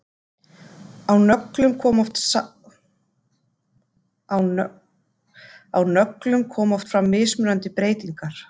Á nöglum koma oft fram mismunandi breytingar.